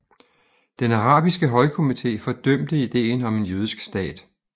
Den arabiske højkomité fordømte ideen om en jødisk stat